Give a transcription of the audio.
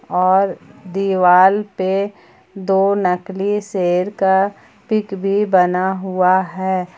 और दीवाल पे दो नकली शेर का पिक भी बना हुआ है।